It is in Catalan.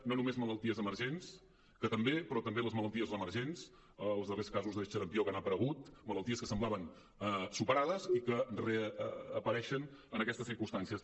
no només malalties emergents que també però també les malalties reemergents els darrers casos de xarampió que han aparegut malalties que semblaven superades i que reapareixen en aquestes circumstàncies